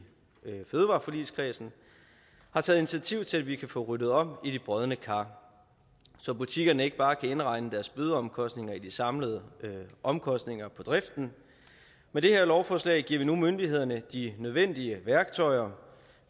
fødevareforligskredsen har taget initiativ til at vi kan få ryddet op i de brodne kar så butikkerne ikke bare kan indregne deres bødeomkostninger i de samlede omkostninger på driften med det her lovforslag giver vi nu myndighederne de nødvendige værktøjer